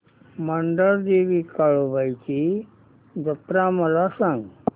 मांढरदेवी काळुबाई ची जत्रा मला सांग